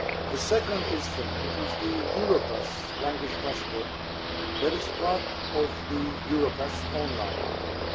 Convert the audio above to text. The second instrument is the Europass Language Passport, which is part of the Europass online tool.